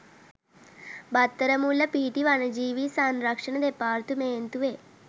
බත්තරමුල්ල පිහිටි වනජීවී සංරක්ෂණ දෙපාර්තමේන්තුවේ